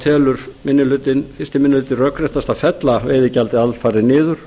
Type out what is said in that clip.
telur fyrsti minni hluti rökréttast að fella veiðigjaldið alfarið niður